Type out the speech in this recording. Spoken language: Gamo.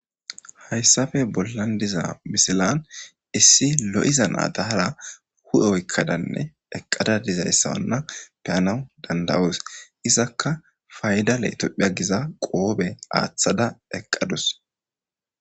Hayssafe bollan diza misilan issi l'iza naadahara hu'e oykkadanne eqqada dizayssawanna peyanawu dandawoos izakka fayda leetopphia giza qoobe aaththada eqqadus